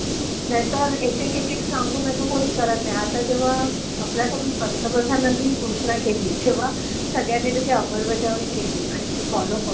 नाहीतर एक एक एक एक सांगून असं कोणी करत नाई. आता जेव्हा आपल्याकडून पंतप्रधानांनी घोषणा केली तेव्हा सगळ्यांनी त्याची अंमलबजावणी केली आणि ते फॉलो होतंय.